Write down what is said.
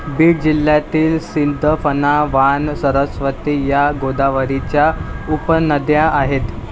बीड जिल्ह्यातील सिंदफणा, वाण, सरस्वती, या गोदावरीच्या उपनद्या आहेत.